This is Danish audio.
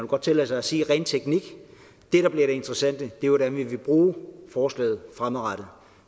godt tillade sig at sige ren teknik det der bliver det interessante er hvordan vi vil bruge forslaget fremadrettet